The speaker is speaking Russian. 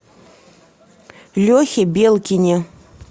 лехе белкине